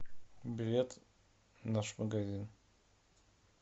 билет наш магазин